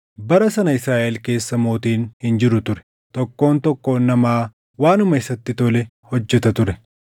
Bara sana Israaʼel keessa mootiin hin jiru ture; tokkoon tokkoon namaa waanuma isatti tole hojjeta ture.